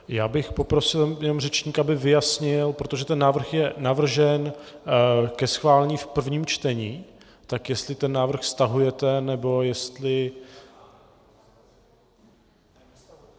Já bych poprosil jenom řečníka, aby vyjasnil, protože ten návrh je navržen ke schválení v prvním čtení, tak jestli ten návrh stahujete, nebo jestli...